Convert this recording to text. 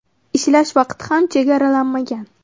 Ishlash vaqti ham chegaralanmagan.